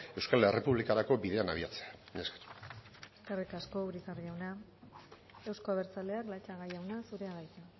euskal errepublikarako bidean abiatzea mila esker eskerrik asko urizar jauna euzko abertzaleak latxaga jauna zurea da hitza